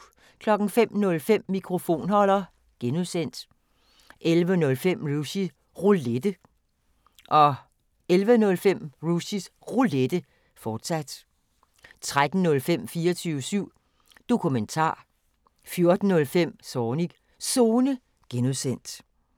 05:05: Mikrofonholder (G) 10:05: Rushys Roulette 11:05: Rushys Roulette, fortsat 13:05: 24syv Dokumentar 14:05: Zornigs Zone (G)